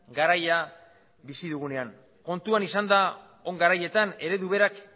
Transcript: garaia bizi dugunean kontuan izanda on garaietan eredu berak